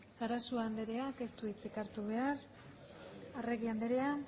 sarasua andreak ez du hitzik hartu behar arregi andrea